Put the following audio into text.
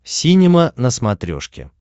синема на смотрешке